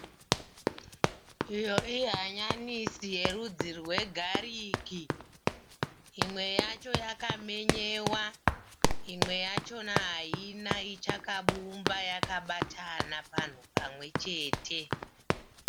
Iyo ihanyanisi yerudzi rwe gariki. Imwe yacho yakamenyewa imwe yachona haina ichakabumba yakabatana panhu pamwechete.